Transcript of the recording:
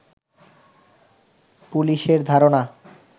পুলিশের ধারণা